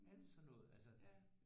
Alt sådan altså